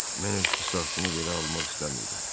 Mən öz qisasımı belə almaq istəmirdim.